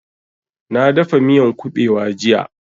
Na dafa miyan ƙubewa jiya